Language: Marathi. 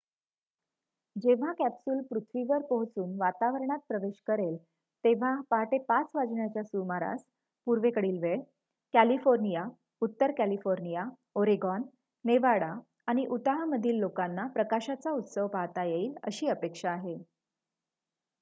जेव्हा कॅप्सूल पृथ्वीवर पोहोचून वातावरणात प्रवेश करेल तेव्हा पाहाटे ५ वाजण्याच्या सुमारास पूर्वेकडील वेळ कॅलिफोर्निया उत्तर कॅलिफोर्निया ओरेगॉन नेवाडा आणि उताहमधील लोकांना प्रकाशाचा उत्सव पाहता येईल अशी अपेक्षा आहे